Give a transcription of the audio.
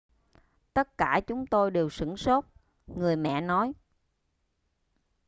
tất cả chúng tôi đều sửng sốt người mẹ nói